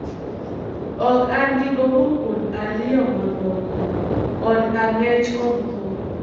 Ok an gi gombo kuom ariyo mamoko - od ang'ech kod tho.